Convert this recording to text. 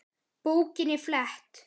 Bókinni flett.